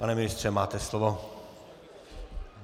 Pane ministře, máte slovo.